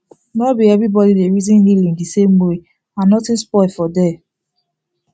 nor be everybody dey reason healing the same way and nothing spoil for there